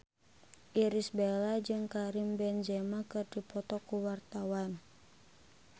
Irish Bella jeung Karim Benzema keur dipoto ku wartawan